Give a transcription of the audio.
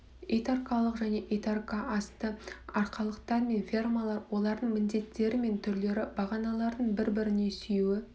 итарқалық және итарқа асты арқалықтар мен фермалар олардың міндеттері мен түрлері бағаналардың бір біріне сүйеуі